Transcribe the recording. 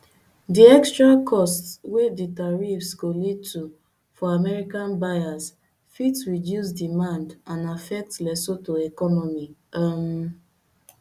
di extra costs wey di tariffs go lead to for american buyers fit reduce demand and affect lesotho economy um